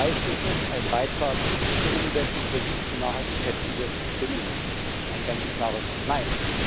Leistet es einen Beitrag zur Umsetzung der 17 Nachhaltigkeitsziele der UNO? Ein ganz klares Nein!